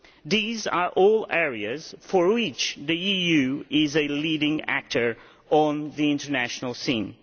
These are all areas in which the EU is a leading actor on the international scene.